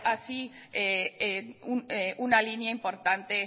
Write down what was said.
así una línea importante